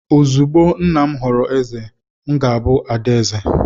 Ozugbo nna m ghọrọ eze, m ga-abụ ada eze..